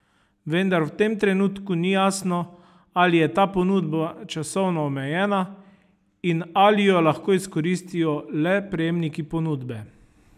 Vendar v tem trenutku ni jasno, ali je ta ponudba časovno omejena in ali jo lahko izkoristijo le prejemniki ponudbe.